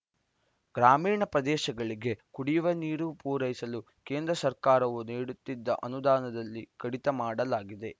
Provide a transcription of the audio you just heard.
ಗ್ರಾಮೀಣ ಪ್ರದೇಶಗಳಿಗೆ ಕುಡಿಯುವ ನೀರು ಪೂರೈಸಲು ಕೇಂದ್ರ ಸರ್ಕಾರವು ನೀಡುತ್ತಿದ್ದ ಅನುದಾನದಲ್ಲಿ ಕಡಿತ ಮಾಡಲಾಗಿದೆ